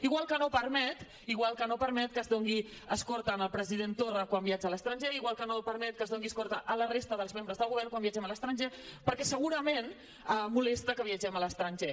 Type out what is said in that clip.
igual que no permet igual que no ho permet que es doni escorta al president torra quan viatja a l’estranger igual que no permet que es doni escorta a la resta de membres del govern quan viatgem a l’estranger perquè segurament molesta que viatgem a l’estranger